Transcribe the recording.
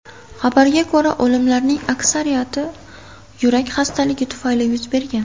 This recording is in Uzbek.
Xabarga ko‘ra, o‘limlarning aksariyati yurak xastaligi tufayli yuz bergan.